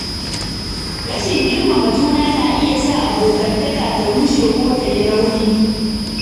Rashin girmama juna na iya sa abokantaka ta rushe ko ta yi rauni